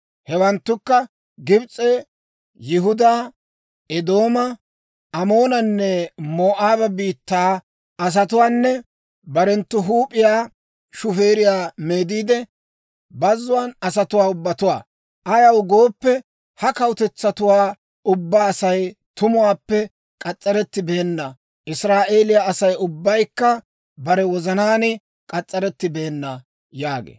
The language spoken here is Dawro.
Hewanttukka Gibs'e, Yihudaa, Eedooma, Amoonanne Moo'aaba biittaa asatuwaanne barenttu huup'iyaa shufeeriyaa meediide, bazzuwaan de'iyaa asatuwaa ubbatuwaa. Ayaw gooppe, ha kawutetsatuwaa ubbaa Asay tumuwaappe k'as's'arettibeenna; Israa'eeliyaa Asay ubbaykka bare wozanaan k'as's'arettibeenna» yaagee.